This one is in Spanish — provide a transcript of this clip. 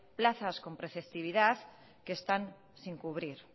plazas con preceptividad que están sin cubrir